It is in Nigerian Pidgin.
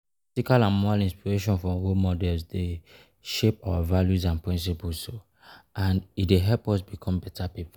Ethical or moral inspiration from role models dey shape our values and principles, and help us become better people.